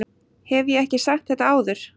Hef ég ekki sagt þetta áður?